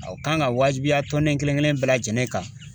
a kan ka wajibiya tɔnden kelen kelen bɛɛ lajɛlen kan.